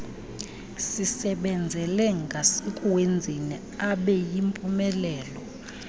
sisebenzele ngasekuwenzeni abeyimpumelelo